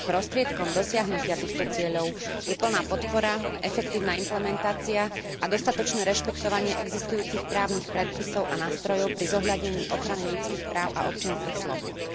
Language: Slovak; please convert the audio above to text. Prostriedkom dosiahnutia týchto cieľov je plná podpora, efektívna implementácia a dostatočné rešpektovanie existujúcich právnych predpisov a nástrojov pri zohľadnení ochrany ľudských práv a občianskych slobôd.